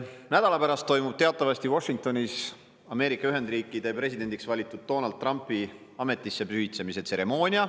Nädala pärast toimub teatavasti Washingtonis Ameerika Ühendriikide presidendiks valitud Donald Trumpi ametisse pühitsemise tseremoonia.